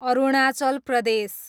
Arunachal Pradesh